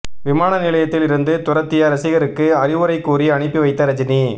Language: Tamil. விமான நிலையத்தில் இருந்து துரத்திய ரசிகருக்கு அறிவுரை கூறி அனுப்பி வைத்த ரஜினி